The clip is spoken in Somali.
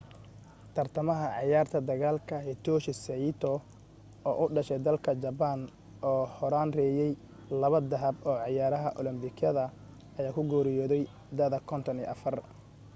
tartamaha ciyaarta dagaalka hitoshi saito oo u dhashay dalka jabaan oo horaan reeyay labo dahab oo ciyaraha olambikada ayaa ku geeriyooday da'da 54